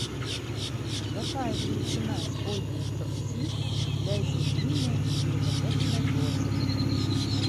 какая величина используется в си для измерения эквивалентной дозы